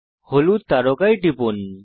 হলুদ তারকায় টিপুন